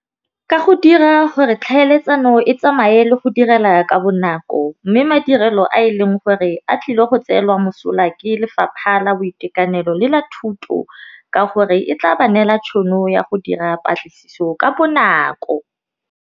Ka go dira gore tlhaeletsano e tsamaye le go direla ka bonako, mme madirelo a e leng gore a tlile go tseelwa mosola ke lefapha la boitekanelo le la thuto ka gore, e tla ba neela tšhono ya go dira patlisiso ka bonako.